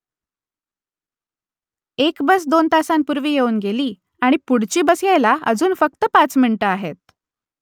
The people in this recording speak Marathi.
एक बस दोन तासांपूर्वी येऊन गेली आणि पुढची बस यायला अजून फक्त पाच मिनिटं आहेत